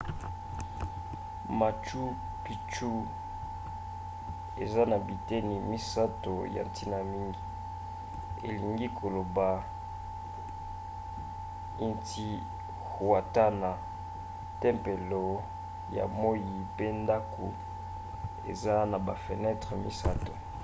machu picchu eza na biteni misato ya ntina mingi elingi koloba intihuatana tempelo ya moi mpe ndako eza na bafenetre misato